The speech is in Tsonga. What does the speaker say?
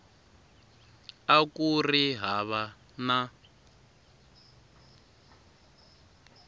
a ku ri hava na